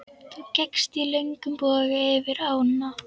Þú gekkst í löngum boga yfir ána.